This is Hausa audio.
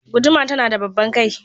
Guduma tana da babban kai.